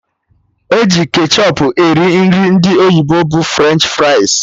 Eji ketchọp eri Nri ndị oyibo bụ French fries